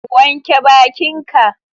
Wanke bakin ka